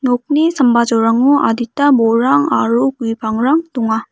nokni sambajolrango adita bolrang aro gue pangrang donga.